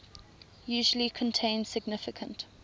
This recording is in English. usually contain significant